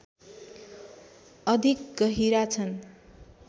अधिक गहिरा छन्